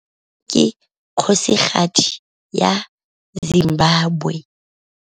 Harare ke kgosigadi ya Zimbabwe.